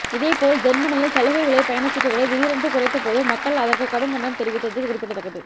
இதேபோல் ஜேர்மனியில் சலுகை விலை பயணச்சீட்டுகளை திடீரென்று குறைத்தபோது மக்கள் அதற்கு கடும் கண்டனம் தெரிவித்தது குறிப்பிடத்தக்கது